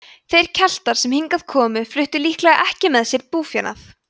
þeir keltar sem hingað komu fluttu líklega ekki með sér búfénað